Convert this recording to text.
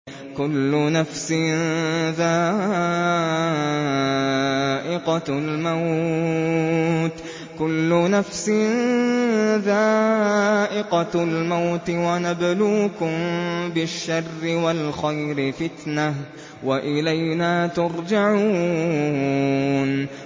كُلُّ نَفْسٍ ذَائِقَةُ الْمَوْتِ ۗ وَنَبْلُوكُم بِالشَّرِّ وَالْخَيْرِ فِتْنَةً ۖ وَإِلَيْنَا تُرْجَعُونَ